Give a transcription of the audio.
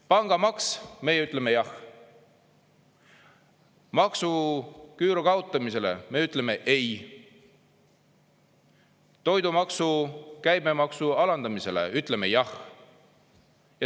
Pangamaks, meie ütleme jah, maksuküüru kaotamisele me ütleme ei, toidumaksu, käibemaksu alandamisele ütleme jah.